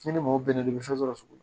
N'i ni mɔgɔ bɛnna i bɛ fɛn sɔrɔ